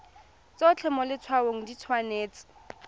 tsotlhe mo letshwaong di tshwanetse